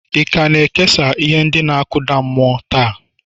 ị ka na-ekesa ihe ndị na-akụda mmụọ taa?